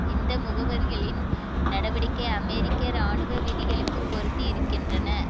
இந்த முகவர்களின் நடவடிக்கை அமெரிக்க இராணுவ விதிகளுக்கு பொருந்தி இருக்கின்றன